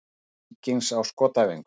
Leikmenn Víkings á skotæfingu.